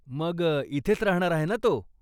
मग इथेच राहणार आहे ना तो?